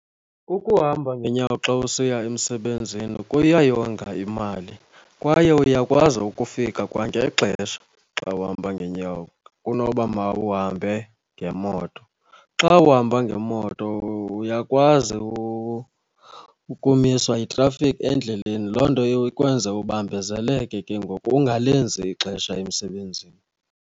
Ukuhamba ngeenyawo xa usiya emsebenzini kuyayonga imali kwaye uyakwazi ukufika kwangexesha xa uhamba ngeenyawo kunoba mawuhambe ngemoto. Xa uhamba ngemoto uyakwazi ukumiswa yithrafikhi endleleni, loo nto ikwenza ubambezeleke ke ngoku ungalenzi ixesha emsebenzini.